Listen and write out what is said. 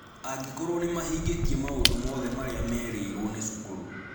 Angĩkorũo nĩ mahingĩtie maũndũ mothe marĩa merĩirũo nĩ cukuru.